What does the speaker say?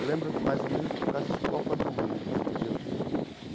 Eu lembro, mais ou menos, por causa de Copa do Mundo entendeu.